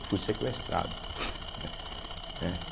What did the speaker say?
Eu fui sequestrado, né.